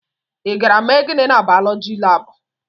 Ị gara ime gịnị na baulọji lab?